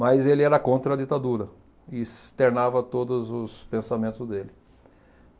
Mas ele era contra a ditadura e externava todos os pensamentos dele.